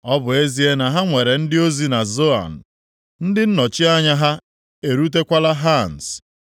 Ọ bụ ezie na ha nwere ndị ozi na Zoan ndị nnọchi anya ha erutekwala Hans,